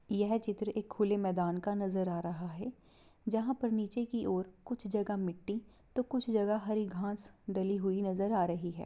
यह चित्र एक खुले मैदान का नजर आ रहा है जहां पर नीचे की ओर कुछ जगह मिट्टी तो कुछ जगह हरी घास डली हुई नजर आ रही है।